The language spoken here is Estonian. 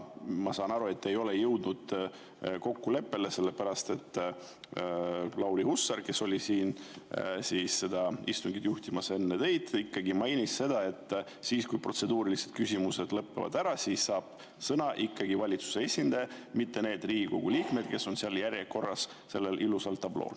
Ma saan aru, et te ei ole jõudnud kokkuleppele, sest Lauri Hussar, kes oli siin istungit juhtimas enne teid, mainis, et kui protseduurilised küsimused lõpevad ära, saab sõna ikkagi valitsuse esindaja, mitte need Riigikogu liikmed, kes on järjekorras seal sellel ilusal tablool.